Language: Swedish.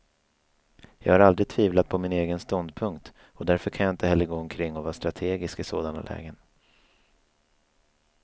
Jag har aldrig tvivlat på min egen ståndpunkt, och därför kan jag inte heller gå omkring och vara strategisk i sådana lägen.